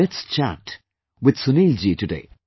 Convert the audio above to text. Let's chat with Sunil ji today